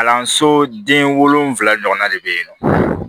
Kalanso den wolonvila ɲɔgɔn de bɛ yen nɔ